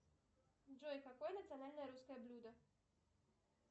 джой какое национальное русское блюдо